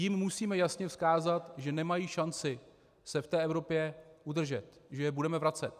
Jim musíme jasně vzkázat, že nemají šanci se v té Evropě udržet, že je budeme vracet.